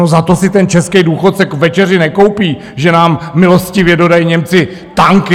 No, za to si ten český důchodce k večeři nekoupí, že nám milostivě dodají Němci tanky.